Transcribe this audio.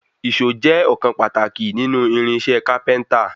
Ìṣó jẹ́ ọ̀kan pàtàkì nínú irinṣẹ́ kápẹ́ńtà.